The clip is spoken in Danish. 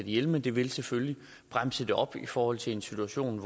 ihjel men det vil selvfølgelig bremse det op i forhold til en situation